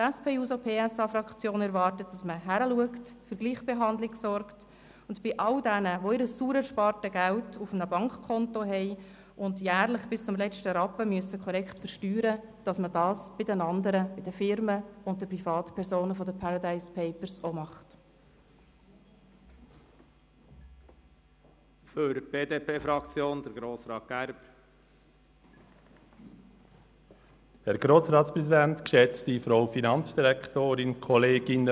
Die SP-JUSO-PSA-Fraktion erwartet, dass man hier hinschaut, für Gleichbehandlung sorgt und von den Firmen und Privatpersonen aus den «Paradise Papers» dasselbe fordert, wie bei all jenen, die ihr sauer erspartes Geld auf einem Bankkonto haben und es jährlich bis zum letzten Rappen korrekt versteuern müssen.